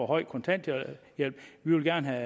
høj kontanthjælp vi vil gerne